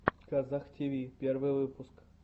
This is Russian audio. казах тиви первый выпуск